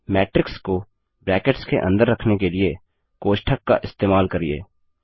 matrix को brackets के अंदर रखने के लिए कोष्ठक का इस्तेमाल करिये